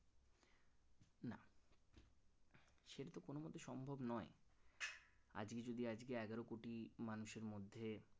সম্ভব নয় আজকে যদি আজকে এগারোকোটি মানুষের মধ্যে